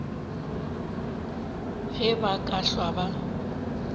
ge ba ka hlwa ba